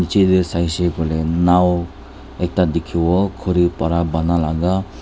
che tey saishe kuile naw ekta dikhiwo khuri pata banai laga.